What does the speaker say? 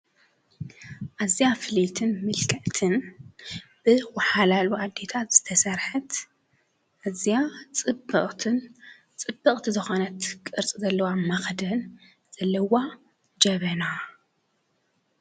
ኣዝያ ፍልይትን ምልክዕትን ብወሓላሉ ኣዴታት ዝተሰርሐት ኣዝያ ፅብቕትን ፅብቕቲ ዝኾነት ቅርፂ ዘለዋ መኽደን ዘለዋ ጀበና፡